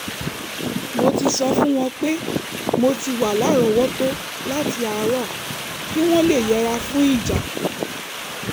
mo ti sọ fún wọn pé mo ti wà lárọ̀ọ́wọ́tó láti àárọ̀ kí wọ́n lè yẹra fún ìjà